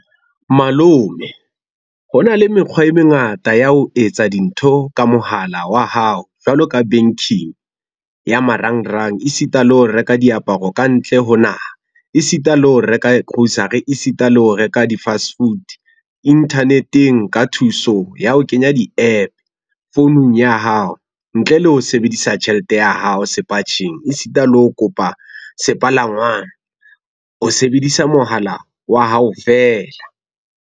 Malome, hona le mekgwa e mengata ya ho etsa dintho ka mohala wa hao jwalo ka banking, ya marangrang esita le ho reka diaparo kantle ho naha, esita le ho reka grocery, esita le ho reka di-fast food, internet-eng ka thuso ya ho kenya di-app founung ya hao, ntle le ho sebedisa tjhelete ya hao sepatjheng esita le ho kopa sepalangwang o sebedisa mohala wa hao fela.